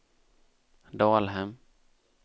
Dalhem